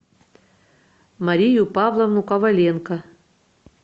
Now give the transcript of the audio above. марию павловну коваленко